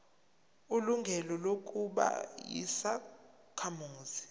ilungelo lokuba yisakhamuzi